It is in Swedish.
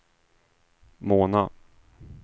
Mona